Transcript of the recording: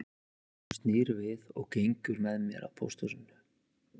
Hún snýr við og gengur með mér að pósthúsinu